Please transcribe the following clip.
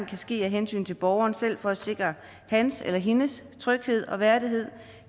kan ske af hensyn til borgeren selv for at sikre hans eller hendes tryghed og værdighed